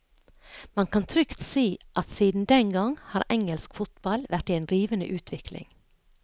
Man kan trygt si at siden den gang har engelsk fotball vært i en rivende utvikling.